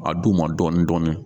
N m'a d' u ma dɔɔnin dɔɔninɔni